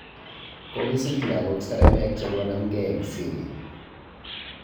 Kokisich lagook Saramek chekomamgei eng Syria